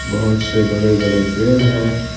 बहुत से बड़े बड़े पेड़ हैं।